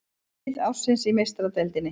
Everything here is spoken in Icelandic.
Lið ársins í Meistaradeildinni